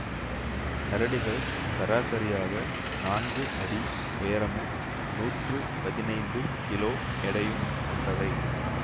கரடிகள் சராசரியாக நான்கு அடி உயரமும் நூற்று பதினைந்து கிலோ எடையும் கொண்டவை